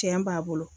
Tiɲɛ b'a bolo